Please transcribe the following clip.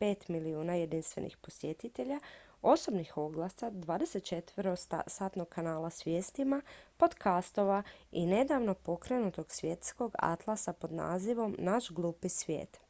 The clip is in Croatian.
5.000.000 jedinstvenih posjetitelja osobnih oglasa 24-satnog kanala s vijestima podcastova i nedavno pokrenutog svjetskog atlasa pod nazivom naš glupi svijet